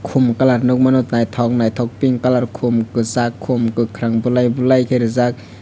Kumar kalar nugmano nythok pink color khum kwsak khum khakrang balai bulai reejak.